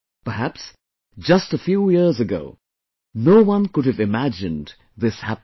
Perhaps, just a few years ago no one could have imagined this happening